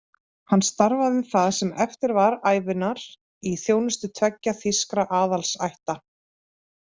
Hann starfaði það sem eftir var ævinnar í þjónustu tveggja þýskra aðalsætta.